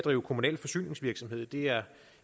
er